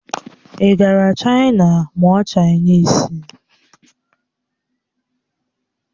Ị gara Chaina mụọ Chainisi?